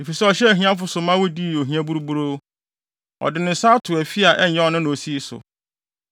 Efisɛ ɔhyɛɛ ahiafo so ma wodii ohia buruburoo; ɔde ne nsa ato afi a ɛnyɛ ɔno na osii so.